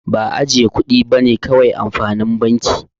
Ba ajjiye kudi bane kawai amfanin banki.